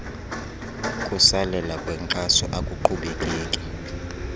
kusalela kwenkxaso akuqhubekeki